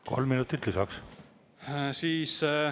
Kolm minutit lisaks.